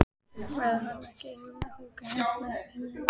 Verður hann ekki einmana að húka hérna einn á jólunum?